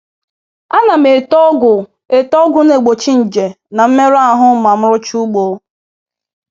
A na m ete ọgwụ ete ọgwụ na-egbochi nje n'mmerụ ahụ ma m nrụchaa ugbo.